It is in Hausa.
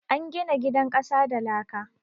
An gina gidan ƙasa da laka